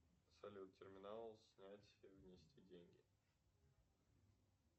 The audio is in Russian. салют терминал снять внести деньги